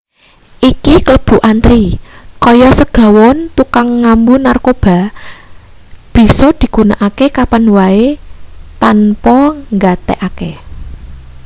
iki kalebu antri kaya segawon tukang ngambu-narkoba bisa digunakake kapan wae tanpa nggatekake